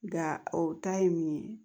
Nga o ta ye min ye